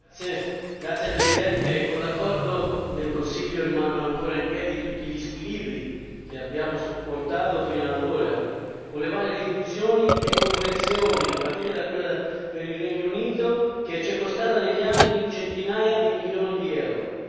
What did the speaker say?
Signor Presidente, onorevoli colleghi, con l'accordo del Consiglio, rimangono ancora in piedi tutti gli squilibri che abbiamo supportato finora, con le varie riduzioni e correzioni, a partire da quella per il Regno Unito, che ci è costata negli anni centinaia di milioni di euro.